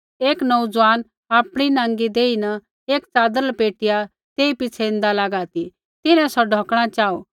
एक नोऊज़ुआन आपणी नाँगी देही न एक च़ादर लपेटिया तेई पिछ़ै ऐन्दा लागा ती तिन्हैं सौ ढौकणा चाहू